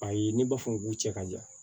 Ayi ne b'a fɔ k'u cɛ ka jan